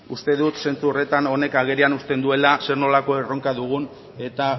uste dut zentzu horretan honek agerian uzten duela zer nolako erronka dugun eta